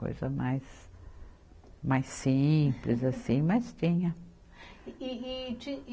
Coisa mais, mais simples assim, mas tinha. E, e, e tin